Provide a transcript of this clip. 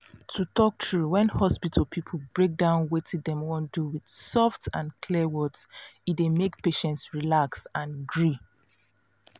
to talk true when hospital people break down wetin dem wan do with soft and clear words e dey make patient relax and gree.